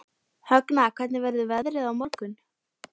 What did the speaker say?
Högna, hvernig verður veðrið á morgun?